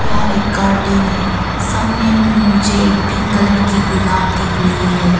यहां एक गार्डन है सामने में मुझे एक पिंक कलर की गुलाब दिख रही है।